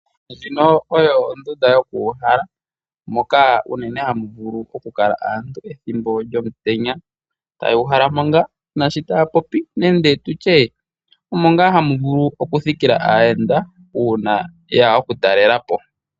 Ndjino oyo ondunda yokuhala moka unene hamuvulu oku kala aantu ethimbo lyomutenya tayuhalamo nga nashi tapopi nande tutye omo nga havulu oku thikila aayenda una yeya oku talelapo.